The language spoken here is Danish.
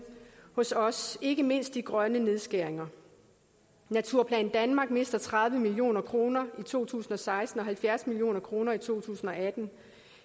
hos os ikke mindst de grønne nedskæringer naturplan danmark mister tredive million kroner i to tusind og seksten og halvfjerds million kroner i to tusind og atten